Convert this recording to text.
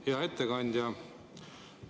Hea ettekandja!